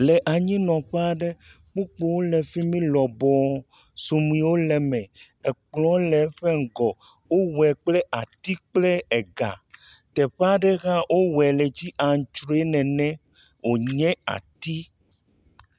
Le anyinɔƒe aɖe, kpukpuwo le fi mi lɔbɔɔ. Suɖuiwo le eme, kplɔ̃ le eƒe ŋgɔ. Wowoe kple ati kple ga. Teƒe aɖe hã wowoe le dzi aŋtrɔe nene wonye ati.